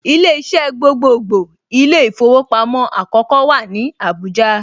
Ilé iṣẹ́ gbogbogbò ilé īfowòpamó àkókó wà ní Àbújá